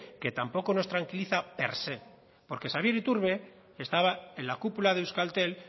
que tampoco nos tranquiliza per se porque xabier iturbe estaba en la cúpula de euskaltel